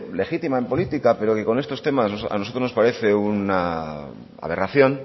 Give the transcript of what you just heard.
legítima en política pero que con estos temas a nosotros nos parece una aberración